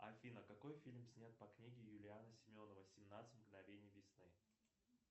афина какой фильм снят по книге юлиана семенова семнадцать мгновений весны